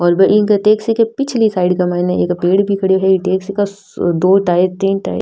और बैन टैक्सी के पिछली साइड के माइने एक पेड़ भी खड्यो है इ टैक्सी का दो टाए तीन टाए --